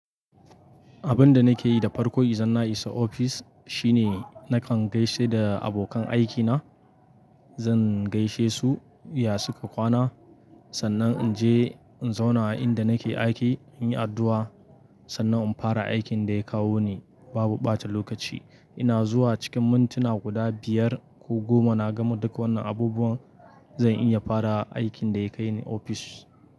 Abin da nake yi da farko izan na isa ofis shine nakan gaishe da abokan aikina. Zan gaishe su, ya suka kwana? Sannan in je in zauna a inda nake aiki in yi addu'a, sannan in fara aikin da ya kawo ni. Babu ɓata lokaci. Ina zuwa cikin mintuna guda biyar ko goma na gama duk wannan abubuwan, zan iya fara aikin da ya kai ni ofis.